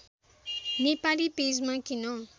नेपाली पेजमा किन